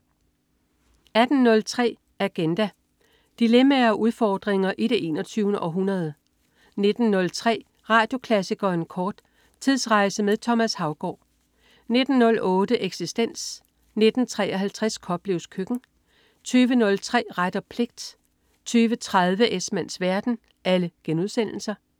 18.03 Agenda. Dilemmaer og udfordringer i det 21. århundrede 19.03 Radioklassikeren kort. Tidsrejse med Thomas Haugaard 19.08 Eksistens* 19.53 Koplevs Køkken* 20.03 Ret og pligt* 20.30 Esmanns verden*